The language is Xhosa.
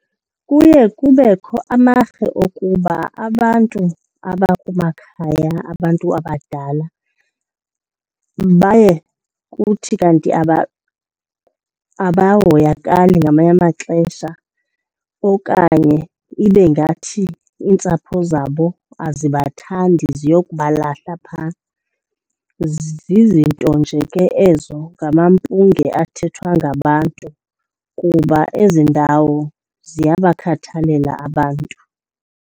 Kuye kubekho amarhe okuba abantu abakumakhaya abantu abadala baye kuthi kanti abahoyakali ngamanye amaxesha okanye ibe ngathi iintsapho zabo azibathandi ziyokubahlala phaa. Zizinto nje ke ezo, ngamampunge athethwa ngabantu, kuba ezi ndawo ziyabakhathalela abantu.